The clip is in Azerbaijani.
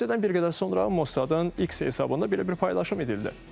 Hadisədən bir qədər sonra Mossadın x hesabında belə bir paylaşım edildi.